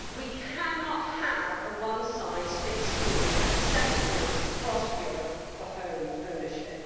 We cannot have a one size fits all set of rules across Europe for home ownership.